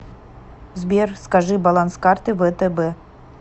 сбер скажи баланс карты втб